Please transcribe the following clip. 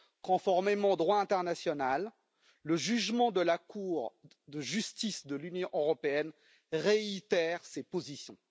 Conformément au droit international, le jugement de la Cour de justice de l'Union européenne réitère ses positions.